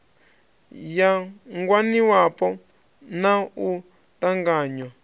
ya ngwaniwapo na u ṱanganywa